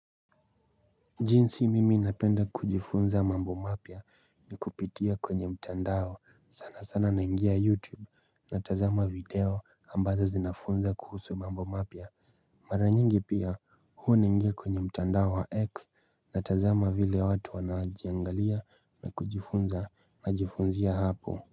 Jinsi mimi napenda kujifunza mambo mapya ni kupitia kwenye mtandao sana sana naingia youtube na tazama video ambazo zinafunza kuhusu mambo mapya Maranyingi pia huo naingia kwenye mtandao wa x na tazama vile watu wanaajiangalia na kujifunza na jifunzia hapo.